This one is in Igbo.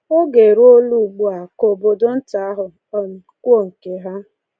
Oge eruola ugbu a ka obodo nta ahụ um kwuo nke ha.